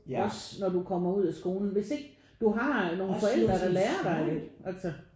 Også når du kommer ud af skolen hvis ikke du har nogen forældre der lærer dig det altså